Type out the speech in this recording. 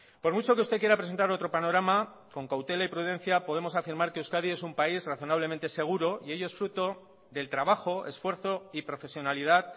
por mucho que usted quiera presentar otro panorama con cautela y prudencia podemos afirmar que euskadi es un país razonablemente seguro y ello es fruto del trabajo esfuerzo y profesionalidad